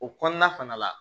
O kɔnɔna fana la